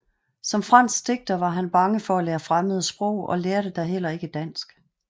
Som fransk digter var han bange for at lære fremmede sprog og lærte da heller ikke dansk